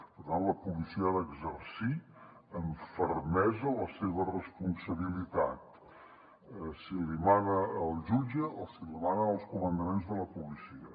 per tant la policia ha d’exercir amb fermesa la seva responsabilitat si li mana el jutge o si li manen els comandaments de la policia